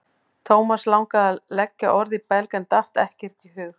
Thomas langaði að leggja orð í belg en datt ekkert í hug.